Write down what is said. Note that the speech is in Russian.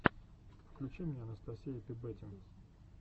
включи мне анастасия пи бэтим